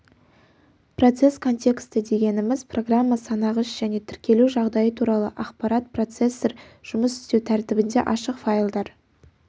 процесс контексті дегеніміз программа санағыш және тіркелу жағдайы туралы ақпарат процессор жұмыс істеу тәртібінде ашық файлдар